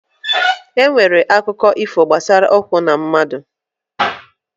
E nwere akụkọ ifo gbasara ụkwụ na mmadụ.